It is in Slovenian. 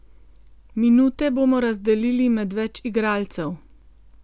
Minute bomo razdelili med več igralcev.